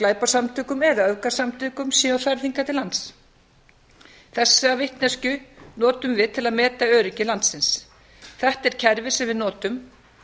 glæpasamtökum eða öfgasamtökum séu færð hingað til lands þess vitneskju notum við til að meta öryggi landsins þetta er kerfið sem við notum